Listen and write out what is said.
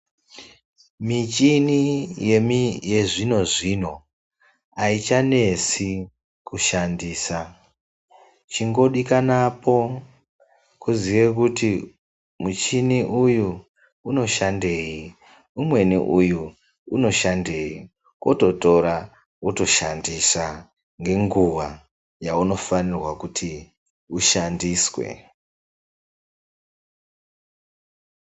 Michini yechizvino zvino haichanesi kushandisa. Chingodikanapo, kuziye kuti muchini uyu unoshandei, umweni uyu unoshandei, wototora, wotoshandisa ngenguva yaunofanirwa kuti ushandiswe.